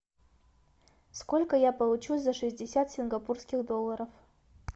сколько я получу за шестьдесят сингапурских долларов